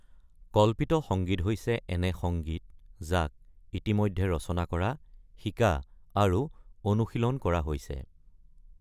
কল্পিত সঙ্গীত হৈছে এনে সংগীত যি ইতিমধ্যে ৰচনা, শিকা আৰু অনুশীলন কৰা হৈছে।